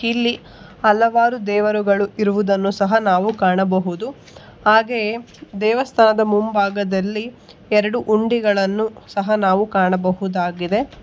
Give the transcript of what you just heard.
ಇಲ್ಲಿ ಹಲವಾರು ದೇವರುಗಳು ಇರುವುದನ್ನು ಸಹ ನಾವು ಕಾಣಬಹುದು ಹಾಗೆಯೆ ದೇವಸ್ಥಾನದ ಮುಂಭಾಗದಲ್ಲಿ ಎರಡು ಹುಂಡಿಗಳನ್ನು ಸಹ ನಾವು ಕಾಣಬಹುದಾಗಿದೆ.